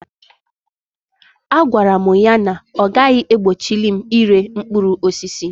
A gwara mụ ya na ọ gaghị egbochili m ire mkpụrụ osisi.